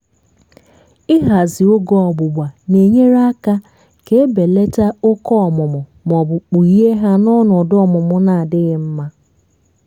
ịhazị oge ọgbụgba na-enyere aka ka ebelata òkè ọmụmụ maọbụ kpughee hà n' ọnọdụ ọmụmụ na-adịghi mma